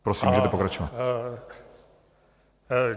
Prosím, můžete pokračovat.